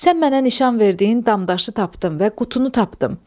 Sən mənə nişan verdiyin damdaşı tapdım və qutunu tapdım.